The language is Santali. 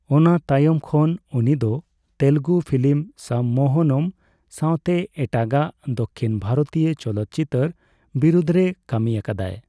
ᱚᱱᱟ ᱛᱟᱭᱚᱢ ᱠᱷᱚᱱ ᱩᱱᱤ ᱫᱚ ᱛᱮᱞᱮᱜᱩ ᱯᱷᱤᱞᱤᱢ ᱥᱚᱢᱢᱳᱦᱚᱱᱚᱢ ᱥᱟᱣᱛᱮ ᱮᱴᱟᱜᱟᱜ ᱫᱚᱠᱠᱷᱤᱱ ᱵᱷᱟᱨᱚᱛᱤᱭᱚ ᱪᱚᱞᱚᱛ ᱪᱤᱛᱟᱹᱨ ᱵᱤᱨᱩᱫᱨᱮ ᱠᱟᱹᱢᱤ ᱟᱠᱟᱫᱟᱭ ᱾